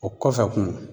O kɔfɛ kun